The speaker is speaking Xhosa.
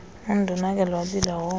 undonakele wabila woma